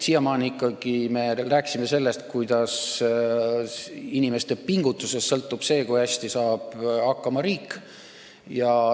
Siiamaani me rääkisime, et inimeste pingutusest sõltub, kui hästi riik saab hakkama.